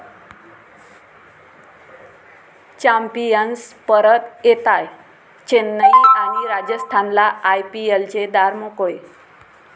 Champions परत येताय, चेन्नई आणि राजस्थानला आयपीएलचे दार मोकळे!